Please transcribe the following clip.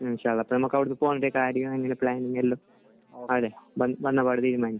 മ്മ്. നമുക്ക് അവിടെ നിന്ന് പ്ലാൻ വന്നപാടെ തീരുമാനിക്കാം.